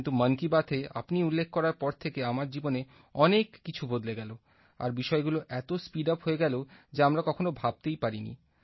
কিন্তু মন কি বাতএ আপনি উল্লেখ করার পর থেকে আমার জীবনে অনেক কিছু বদলে গেল আর বিষয়গুলো এত স্পিড আপ হয়ে গেল যা আমরা কখনো ভাবতেই পারিনি